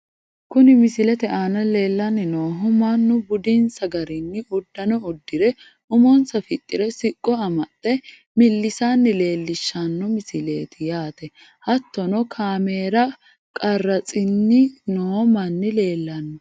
Kuni misilete aana leellanni noohu mannu budinsa garinni uddano uddire umonsa fixxire siqqo amaxxe millisanna leellishshanno misileeti yaate hattono kaameera qarratsnni noo manni leellanno.